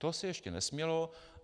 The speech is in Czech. To se ještě nesmělo.